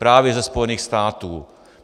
Právě ze Spojených států.